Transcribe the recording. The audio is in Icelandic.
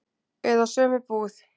Eða sömu búð.